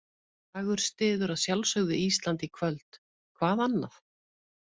Dagur styður að sjálfsögðu Ísland í kvöld, hvað annað?